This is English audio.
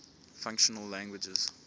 functional languages